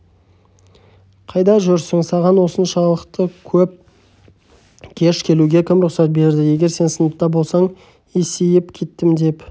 қайда жүрсің саған осыншалықты кеш келуге кім рұқсат берді егер сен сыныпта болсаң есейіп кеттім деп